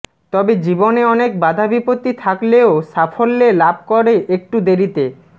তবে জীবনে অনেক বাধা বিপত্তি থাকলেও সাফল্যে লাভ করে একটু দেরিতে